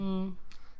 Mh